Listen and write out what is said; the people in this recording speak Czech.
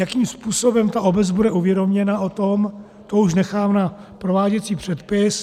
Jakým způsobem ta obec bude uvědoměna o tom, to už nechám na prováděcí předpis.